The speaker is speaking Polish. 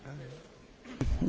Panie Przewodniczący!